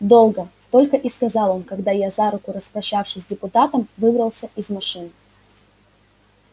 долго только и сказал он когда я за руку распрощавшись с депутатом выбрался из машины